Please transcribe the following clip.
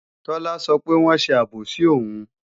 Tọ́lá sọ pé wọ́n ṣe àbòsí òun